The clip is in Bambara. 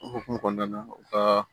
O hukumu kɔnɔna na u ka